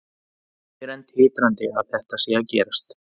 Ég er enn titrandi að þetta sé að gerast,